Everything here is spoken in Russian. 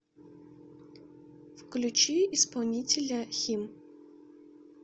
включи исполнителя хим